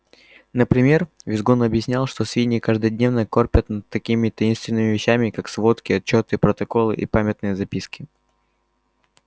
например визгун объяснял что свиньи каждодневно корпят над такими таинственными вещами как сводки отчёты протоколы и памятные записки